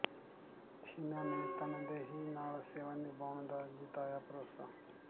ਛੀਨਾ ਨੇ ਤਨਦੇਹੀ ਨਾਲ ਸੇਵਾ ਨਿਭਾਉਣ ਦਾ ਜਿਤਾਇਆ ਭਰੋਸਾ